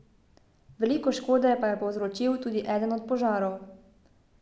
Veliko škode pa je povzročil tudi eden od požarov.